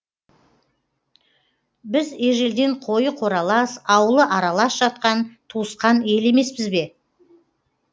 біз ежелден қойы қоралас ауылы аралас жатқан туысқан ел емеспіз бе